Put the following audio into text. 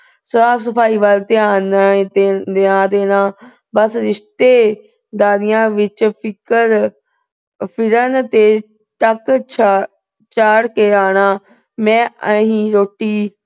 ਸਾਫ-ਸਫਾਈ ਵੱਲ ਧਿਆਨ ਨਾ ਅਹ ਨਾ ਦੇਣਾ। ਬਸ ਰਿਸ਼ਤੇਦਾਰੀਆਂ ਵਿੱਚ ਫਿਕਰ ਅਹ ਫਿਰਨ ਤੇ ਚਾੜ ਕੇ ਆਉਣਾ। ਮੈਂ ਈ ਰੋਟੀ